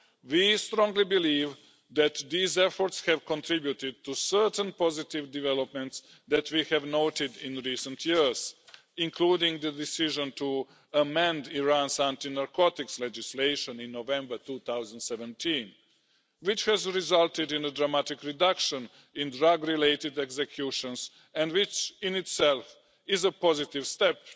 We strongly believe that these efforts have contributed to certain positive developments that we have noted in recent years, including the decision to amend Iran's anti narcotics legislation in November 2017, which has resulted in a dramatic reduction in drug related executions and which, in itself, is a positive step